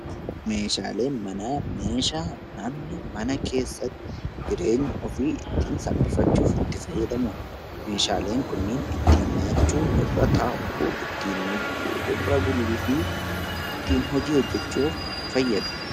Meeshaaleen manaa meeshaa namni mana keessatti jireenya ofii ittiin salphifachuuf itti fayyadamu dha. Meeshaaleen kunneen ittiin nyaachuu, irra taa'uu, ittiin dhuguu, irra buluu fi ittiin hojii hojjechuuf fayyadu.